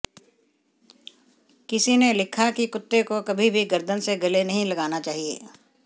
किसी ने लिखा कि कुत्ते को कभी भी गर्दन से गले नहीं लगाना चाहिए